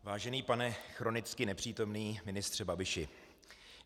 Vážený pane chronicky nepřítomný ministře Babiši.